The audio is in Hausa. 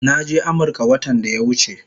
Naje Amirka watan daya wuche